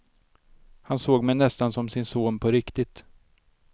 Han såg mig nästan som sin son på riktigt.